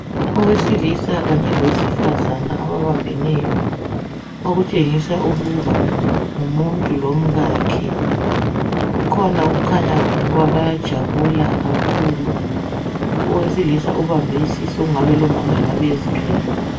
Owesilisa kanye lowesifazana ababambeneyo okutshengisa ukuba ngumuntu lomkakhe kukhona okukhanya bayajabula kakhulu owesilisa ubambe isisu okungabe lomama engabe ezithwele.